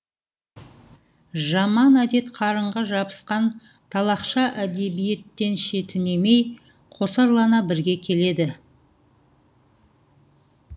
жаман әдет қарынға жабысқан талақша әдебиеттеншетінемей қосарлана бірге келеді